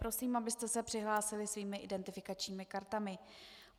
Prosím, abyste se přihlásili svými identifikačními kartami.